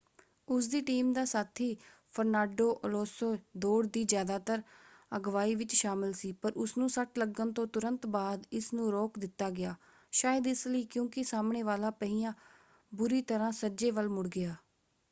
ਉਸਦੀ ਟੀਮ ਦਾ ਸਾਥੀ ਫਰਨਾਡੋ ਅਲੋਂਸੋ ਦੌੜ ਦੀ ਜ਼ਿਆਦਾਤਰ ਅਗਵਾਈ ਵਿੱਚ ਸ਼ਾਮਲ ਸੀ ਪਰ ਉਸਨੂੰ ਸੱਟ ਲੱਗਣ ਤੋਂ ਤੁਰੰਤ ਬਾਅਦ ਇਸ ਨੂੰ ਰੋਕ ਦਿੱਤਾ ਗਿਆ ਸ਼ਾਇਦ ਇਸ ਲਈ ਕਿਉਂਕਿ ਸਾਹਮਣੇ ਵਾਲਾ ਪਹੀਆ ਬੁਰੀ ਤਰ੍ਹਾਂ ਸੱਜੇ ਵੱਲ ਮੁੜ ਗਿਆ।